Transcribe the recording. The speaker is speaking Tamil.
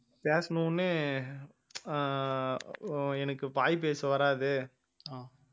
பேசின உடனே ஆஹ் அஹ் எனக்கு வாய் பேச வராது